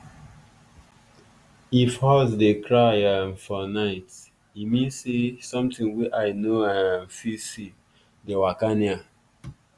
if horse dey cry um for night e mean say something wey eye no um fit see dey waka near.